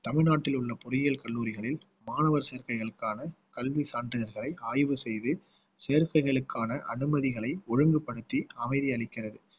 தமிழ்நாட்டில் உள்ள பொறியியல் கல்லூரிகளில் மாணவர் சேர்க்கைகளுக்கான கல்வி சான்றிதழ்களை ஆய்வு செய்து சேர்க்கைகளுக்கான அனுமதிகளை ஒழுங்குபடுத்தி அமைதி அளிக்கிறது